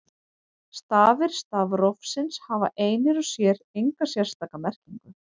Stafir stafrófsins hafa einir og sér enga sérstaka merkingu.